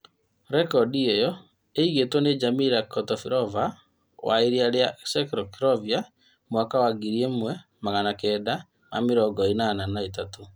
Rekondi ĩyo ĩigĩtwo nĩ Jarmila Kratochvilova wa ĩrĩa yarĩ Czechoslovakia mwaka wa ngiri ĩmwe magana kenda ma mĩrongo ĩnana na ithatũ